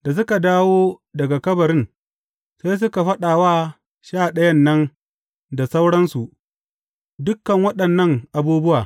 Da suka dawo daga kabarin, sai suka faɗa wa Sha Ɗayan nan da sauransu, dukan waɗannan abubuwa.